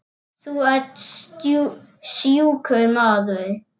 Þú ert sjúkur maður.